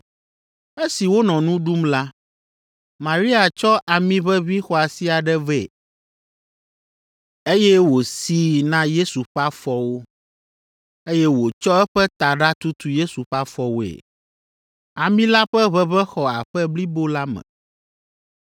Esi wonɔ nu ɖum la, Maria tsɔ amiʋeʋĩ xɔasi aɖe vɛ, eye wòsii na Yesu ƒe afɔwo, eye wòtsɔ eƒe taɖa tutu Yesu ƒe afɔwoe. Ami la ƒe ʋeʋẽ xɔ aƒe blibo la me.